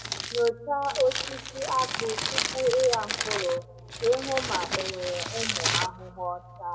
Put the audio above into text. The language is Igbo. Nyochaa osisi akpụ tupu ịgha mkpụrụ ka ị hụ ma enwere ụmụ ahụhụ ọcha.